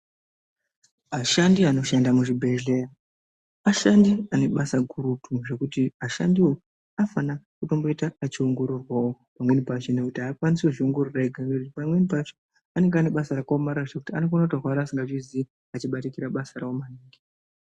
Ashandi anoshanda muzvibhedhleya, ashandi ane basa gurutu zvekuti ashandiwo anofana kutomboita achio ngororwawo pamweni pacho nekuti pamweni pacho aakwanisi kuzviongorora ega ngekuti pamweni pacho anonga ane basa rakaomarara zvekuti anokona kutorwara asingazviziyi achibatikira basa rao maningi.